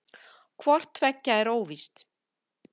Hvort tveggja er óvíst.